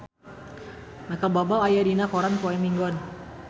Micheal Bubble aya dina koran poe Minggon